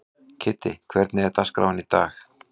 Kiddi, hvernig er dagskráin í dag?